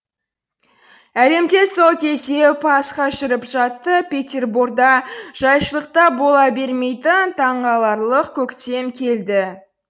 әлемде сол кезде пасха жүріп жатты петерборда жайшылықта бола бермейтін таңғаларлық көктем келді